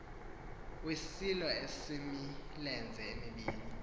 wesilo esimilenze mibini